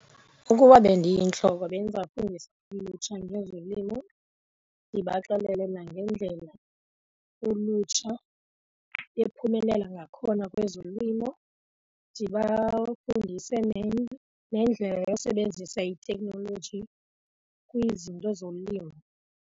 Ukuba bendiyintloko bendizafundisa ulutsha ngezolimo ndibaxelele nangendlela ulutsha ephumelela ngakhona kwezolimo. Ndibafundise nendlela yosebenzisa itheknoloji kwizinto zolimo.